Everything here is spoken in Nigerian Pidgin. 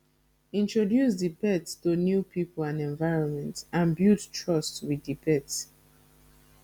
introduce di pet to new pipo and environment and build trust with di pet